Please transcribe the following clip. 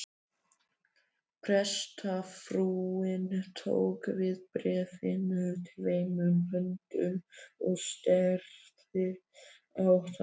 Prestsfrúin tók við bréfinu tveimur höndum og starði á það.